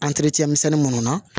misɛnnin minnu na